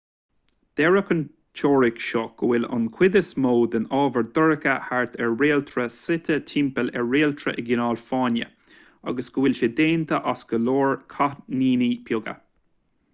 deir an teoiric seo go bhfuil an chuid is mó den ábhar dorcha thart ar réaltra suite timpeall ar réaltra i gcineál fáinne agus go bhfuil sé déanta as go leor cáithníní beaga